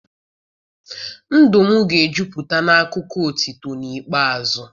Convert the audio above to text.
Ndụ m ga-ejupụta n'akụkọ otuto n'ikpeazụ.